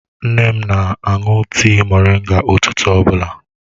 Nne m na-aṅụ tịị moringa ụtụtụ ọbụla.